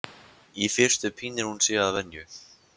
Í fyrstu pínir hún sig að venju.